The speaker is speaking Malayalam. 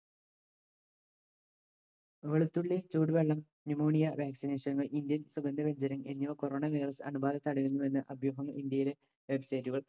വെളുത്തുള്ളി ചൂടുവെള്ളം pneumonia vaccination കൾ ഇന്ത്യൻ സുഗന്ധവ്യഞ്ചരം എന്നിവ corona virus നില അണുബാധ തടയുന്നുവെന്ന് അഭ്യൂഹം ഇന്ത്യയിലെ website കൾ